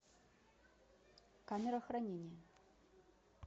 камера хранения